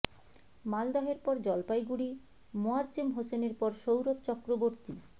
মালদহের পর জলপাইগুড়ি মোয়াজ্জেম হোসেনের পর সৌরভ চক্রবর্তী